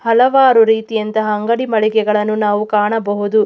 ಹಲವಾರು ರೀತಿಯಂತಹ ಅಂಗಡಿ ಮಳಿಗೆಗಳನ್ನು ನಾವು ಕಾಣಬಹುದು.